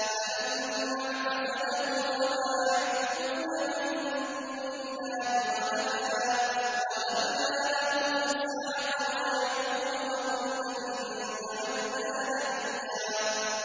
فَلَمَّا اعْتَزَلَهُمْ وَمَا يَعْبُدُونَ مِن دُونِ اللَّهِ وَهَبْنَا لَهُ إِسْحَاقَ وَيَعْقُوبَ ۖ وَكُلًّا جَعَلْنَا نَبِيًّا